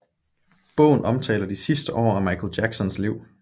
Bogen omtaler de sidste år af Michael Jacksons liv